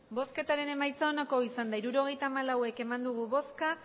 emandako botoak hirurogeita hamalau bai